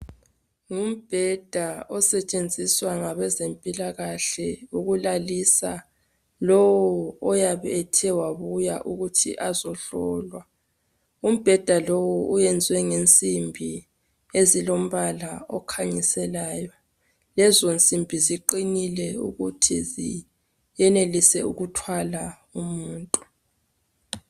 Ngubheds osetshenziswa ngabezempilakahle ukulalisa lo oyabe ethe wabuya ukuthi azohlola umbheda loWo wenze ngensimbi ezilombala okhanyiselayo lezo nsimbi ziqinile futhi ziyayenelisa ukuthwala umuntu